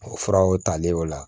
O furaw talen y'o la